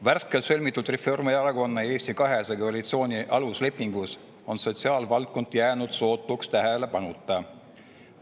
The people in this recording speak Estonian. Värskelt sõlmitud Reformierakonna ja Eesti 200 koalitsiooni aluslepingus on sotsiaalvaldkond jäänud sootuks tähelepanuta.